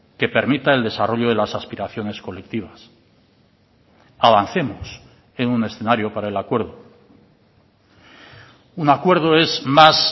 que permita el desarrollo de las aspiraciones colectivas avancemos en un escenario para el acuerdo un acuerdo es más